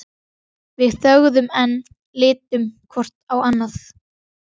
Við þögðum enn, litum hvort á annað.